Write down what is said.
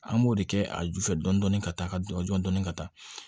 An b'o de kɛ a ju fɛ dɔni ka taa ka dɔn dɔn dɔni ka taa